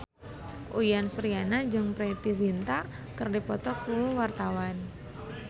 Uyan Suryana jeung Preity Zinta keur dipoto ku wartawan